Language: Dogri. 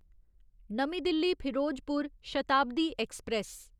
नमीं दिल्ली फिरोजपुर शताब्दी ऐक्सप्रैस